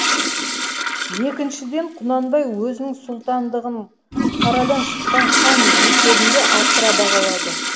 екіншіден құнанбай өзінің сұлтандығын қарадан шыққан хан есебінде асыра бағалады